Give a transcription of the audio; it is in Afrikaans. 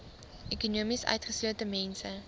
ekonomies utgeslote mense